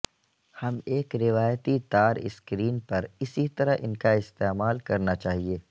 ہم ایک روایتی تار سکرین پر اسی طرح ان کا استعمال کرنا چاہئے